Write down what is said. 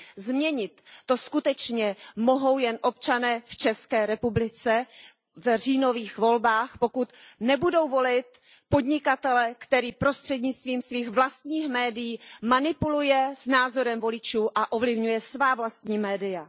Změnit to skutečně mohou jen občané v České republice v říjnových volbách, pokud nebudou volit podnikatele, který prostřednictvím svých vlastních médií manipuluje s názorem voličů a ovlivňuje svá vlastní média.